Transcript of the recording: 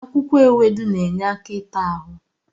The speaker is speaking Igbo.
Akwụkwọ ewedu na-enye aka ịta ahụ.